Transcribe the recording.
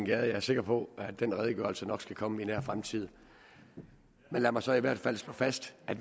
jeg er sikker på at den redegørelse nok skal komme i nær fremtid men lad mig så i hvert fald slå fast at